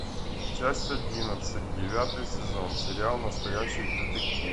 часть одиннадцать девятый сезон сериал настоящий детектив